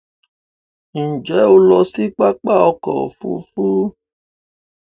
Nje o lo si papa oko ofu